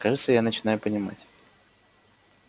кажется я начинаю понимать